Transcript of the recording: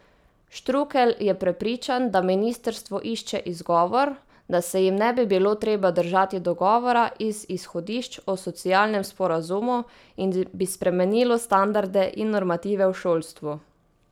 Štrukelj je prepričan, da ministrstvo išče izgovor, da se jim ne bi bilo treba držati dogovora iz izhodišč o socialnem sporazumu in bi spremenilo standarde in normative v šolstvu.